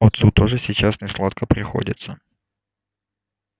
отцу тоже сейчас несладко приходится